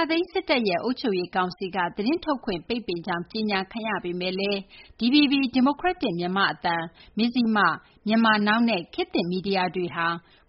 ာသိမ်း စစ်တပ်ရဲ့ အုပ်ချုပ်ရေး ကောင်စီက သတင်းထုတ်ဝေခွင့် ပိတ်ပင်ကြောင်း ကြေညာခံရပေမယ့်လည်း DVB ဒီမိုကရက်တစ်မြန်မာ့အသံ၊ မဇ္ဈိမသတင်းဌာန၊ Myanmar Now၊ နဲ့ ခေတ်သစ်မီဒီယာတွေ